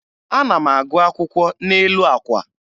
Ana m agụ akwụkwọ n'elu àkwà.